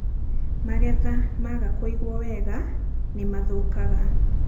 magetha maaga kũigwo wega nĩ mathũũkaga